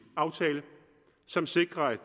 aftale som sikrer at